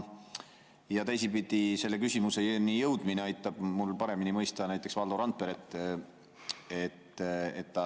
Ja teisipidi, selle küsimuseni jõudmine aitab mul paremini mõista näiteks Valdo Randperet.